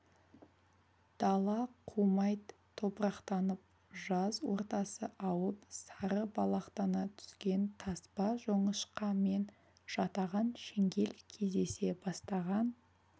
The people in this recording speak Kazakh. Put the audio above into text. дала құмайт топырақтанып жаз ортасы ауып сары балақтана түскен таспа жоңышқа мен жатаған шеңгел кездесе бастаған